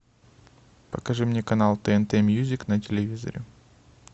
покажи мне канал тнт мьюзик на телевизоре